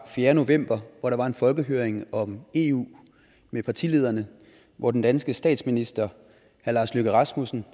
fjerde november hvor der var en folkehøring om eu med partilederne og hvor den danske statsminister herre lars løkke rasmussen